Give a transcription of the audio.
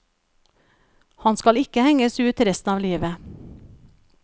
Han skal ikke henges ut resten av livet.